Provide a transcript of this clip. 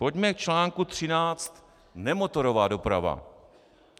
Pojďme k článku 13 Nemotorová doprava.